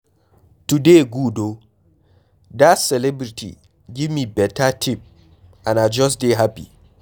Today good oo, dat celebrity give me beta tip and I just dey happy.